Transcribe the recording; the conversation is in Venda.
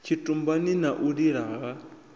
tshitumbani na u lila ha